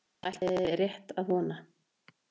Það ætla ég rétt að vona.